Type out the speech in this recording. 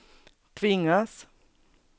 tvingas